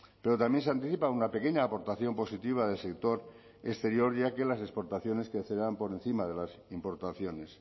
pero también se anticipa una pequeña aportación positiva del sector exterior ya que las exportaciones crecerán por encima de las importaciones